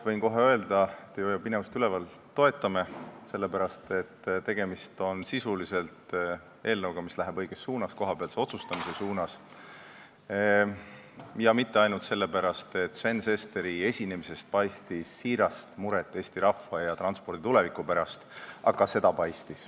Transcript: Võin kohe öelda, ma ei hoia pinevust üleval, et Reformierakond toetab eelnõu, sellepärast et tegemist on eelnõuga, mis läheb õiges suunas, kohapealse otsustamise suunas, ja mitte ainult sellepärast, et Sven Sesteri esinemisest paistis siirast muret Eesti rahva ja transpordi tuleviku pärast.